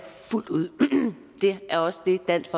fuldt ud det er også det dansk